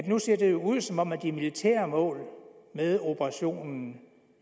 nu ser det jo ud som om de militære mål med operationen